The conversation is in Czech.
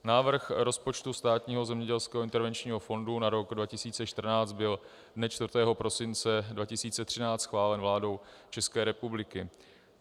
Návrh rozpočtu Státního zemědělského intervenčního fondu na rok 2014 byl dne 4. prosince 2013 schválen vládou České republiky.